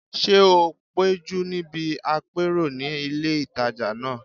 Ṣé o péjú níbi àpérò ní ilé ìtajà náà?